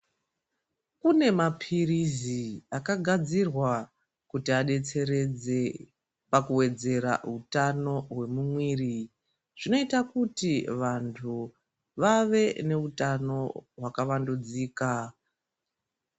Kune mapirizi akagadzirwa kuti adetseredze pakuwedzera utano hwemumwiri. Zvinoita kuti vantu vave neutano hwaka vandudzika